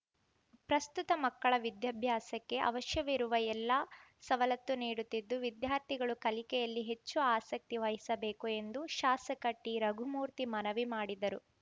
ಪ್ರಸ್ತುತ ಮಕ್ಕಳ ವಿದ್ಯಾಭ್ಯಾಸಕ್ಕೆ ಅವಶ್ಯವಿರುವ ಎಲ್ಲ ಸವಲತ್ತು ನೀಡುತ್ತಿದ್ದು ವಿದ್ಯಾರ್ಥಿಗಳು ಕಲಿಕೆಯಲ್ಲಿ ಹೆಚ್ಚು ಆಸಕ್ತಿ ವಹಿಸಬೇಕು ಎಂದು ಶಾಸಕ ಟಿರಘುಮೂರ್ತಿ ಮನವಿ ಮಾಡಿದರು